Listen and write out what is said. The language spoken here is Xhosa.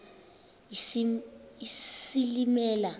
isilimela